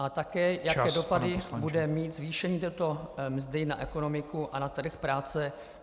A také, jaké dopady bude mít zvýšení této mzdy na ekonomiku a na trh práce.